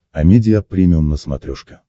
амедиа премиум на смотрешке